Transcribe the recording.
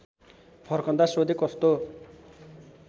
फर्कँदा सोधे कस्तो